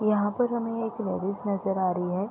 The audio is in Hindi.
यहां पर हमें एक लेडिस नजर आ रही है।